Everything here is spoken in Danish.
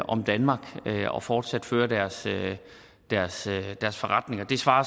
om danmark og fortsat føre deres deres forretninger det svarer